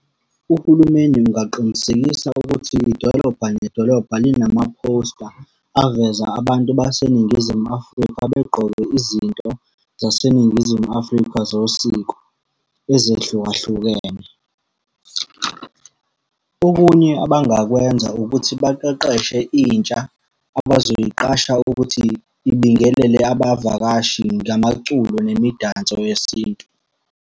Uhulumeni kungaqinisekisa ukuthi idolobha nedolobha linamaphosta aveza abantu baseNingizimu Afrika begqoke izinto zaseNingizimu Afrika zosiko ezehlukahlukene. Okunye abangakwenza ukuthi baqeqeshe intsha abazoyiqasha ukuthi ibingelele abavakashi ngamaculo nemidanso yesintu.